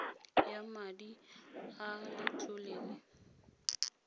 ya madi a letlole la